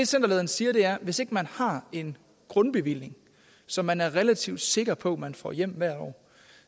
centerlederen siger er at hvis ikke man har en grundbevilling som man er relativt sikker på man får hjem hvert år